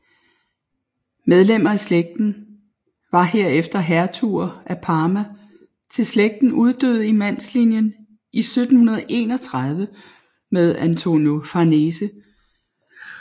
Medlemmer af slægten var herefter hertuger af Parma til slægten uddøde i mandslinjen i 1731 med Antonio Farnese